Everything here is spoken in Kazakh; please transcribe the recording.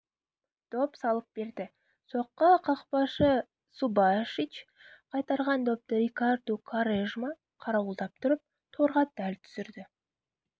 доп салып берді соққы қақпашы субашич қайтарған допты рикарду куарежма қарауылдап тұрып торға дәл түсірді